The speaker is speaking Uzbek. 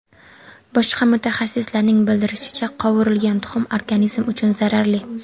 Boshqa mutaxassislarning bildirishicha, qovurilgan tuxum organizm uchun zararli.